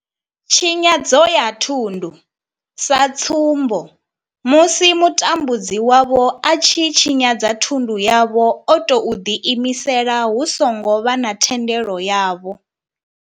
Tshinyadzo ya thundu sa tsumbo, musi mutambudzi wavho a tshi tshinyadza thundu yavho o tou ḓi imisela hu songo vha na thendelo yavho.